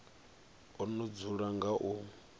o no dzula nga u